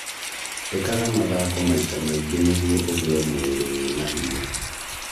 ĩkaga mathako maita maingĩ nĩguo ugĩe mũĩrĩ wĩna hinya